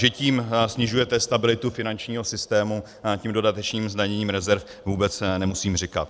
Že tím snižujete stabilitu finančního systému, tím dodatečným zdaněním rezerv, vůbec nemusím říkat.